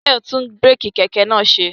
Tayo tún búrèkì kẹ̀kẹ́ naa ṣe